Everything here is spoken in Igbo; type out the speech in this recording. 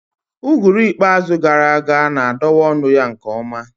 Uguru ikpeazụ gara aga na-adọwa ọnụ ya nke ọma